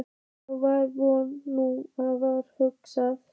Þá var vor, nú var haust.